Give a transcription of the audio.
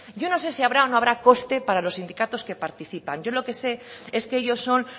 yo no sé si habrá o no habrá coste para los sindicatos que participan yo lo que sé es que ellos son